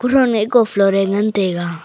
roiney ko floor re ngan tega.